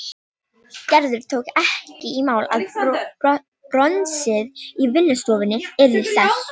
Gerður tók ekki í mál að bronsið í vinnustofunni yrði selt.